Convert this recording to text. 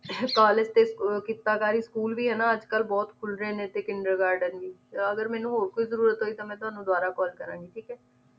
college ਤੇ ਅਹ ਕਿੱਤਾਕਾਰੀ school ਵੀ ਹਨਾਂ ਅੱਜ ਕੱਲ ਬਹੁਤ ਖੁੱਲ ਰਹੇ ਨੇ ਟੀ ਕਿੰਡਰ garden ਵੀ ਅਗਰ ਮੈਨੂੰ ਹੋਰ ਕੋਈ ਜਰੂਰਤ ਹੋਈ ਤਾਂ ਮੈਂ ਤੁਹਾਨੂੰ ਦੁਬਾਰਾ call ਕਰਾਂਗੀ ਠੀਕ ਹੈ